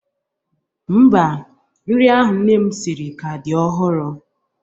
Mba, nri ahụ nne m siri ka dị ọhụrụ.